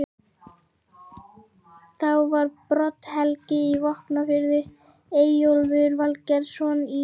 Þá var Brodd-Helgi í Vopnafirði, Eyjólfur Valgerðarson í